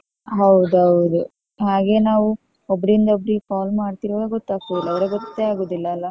ಹೌದೌದು ಹಾಗೆ ನಾವು ಒಬ್ರಿಂದ ಒಬ್ರಿಗೆ call ಮಾಡ್ತಿರ್ವಾಗ ಗೊತ್ತಗ್ತದಲ್ಲ ಇಲ್ಲಡ್ರೆ ಗೊತ್ತೇ ಆಗೋದಿಲ್ಲಲ್ಲ.